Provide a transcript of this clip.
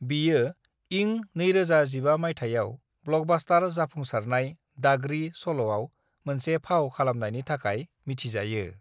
बियो इं 2015 माइथायाव ब्लकबास्तार जाफुंसारनाय दागड़ी चलआव मोनसे फाव खालामनायनि थाखाय मिथिजायो।